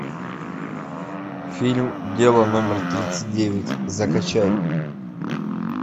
фильм дело номер тридцать девять закачай